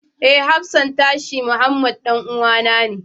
Eh, hafsan tashi Muhammed ɗan'uwana ne.